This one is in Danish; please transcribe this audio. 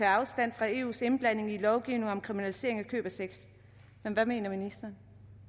afstand fra eus indblanding i lovgivning om kriminalisering af køb af sex men hvad mener ministeren